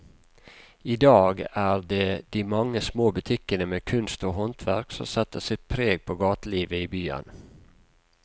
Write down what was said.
I dag er det de mange små butikkene med kunst og håndverk som setter sitt preg på gatelivet i byen.